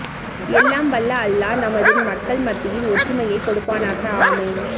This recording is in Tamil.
எல்லாம் வல்ல அல்லாஹ் நமது மக்கள் மத்தியில் ஒற்றுமையை கொடுப்பானாக ஆமீன்